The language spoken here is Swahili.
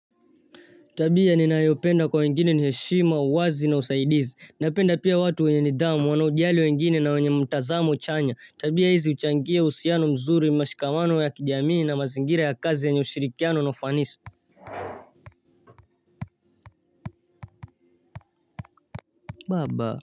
Tabia ninayopenda kwa wengine ni heshima, uwazi na usaidizi, napenda pia watu wenye nidhamu, wanaojali wengine na wenye mtazamo chanya, tabia hizi huchangia uhusiano mzuri, mashikamano ya kijamii na mazingira ya kazi yenye ushirikiano na ufanisi. Baba.